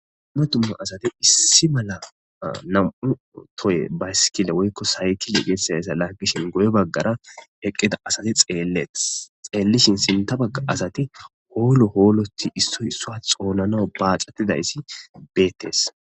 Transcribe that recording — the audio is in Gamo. Duma duma asati issi mala nam'u tohe bayskile woyko saykile getetizaysa lagishe guye bagara eqida asati xeletes xelishin sinta baga asati olo oloti issoy isuwa xonanaw baxetizaysi betes.